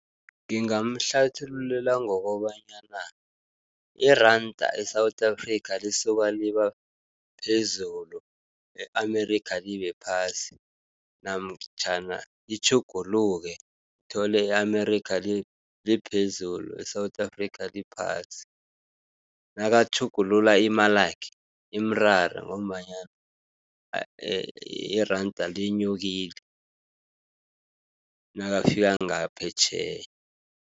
Ngingamhlathululela ngokobanyana iranda e-South Africa lisuka liba phezulu, e-Amerika libe phasi namtjhana itjhuguluke uthole e-Amerika liphezulu, e-South Africa liphasi. Nakatjhugulula imalakhe imrare ngombanyana iranda linyukile nakafika ngaphetjheya.